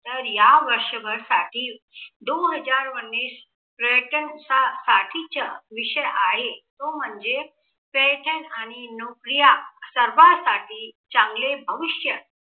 तर या वर्षभरसाठी दो हजार उन्नीस चा पर्यटन साठीचा विषय आहे तो म्हणजे पर्यटन आणि नोकऱ्या सर्वांसाठी चांगले भविष्य